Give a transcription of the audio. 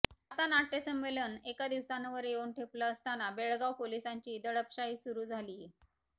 आता नाट्यसंमेलन एका दिवसांवर येऊन ठेपलं असताना बेळगाव पोलिसांची दडपशाही सुरू झालीये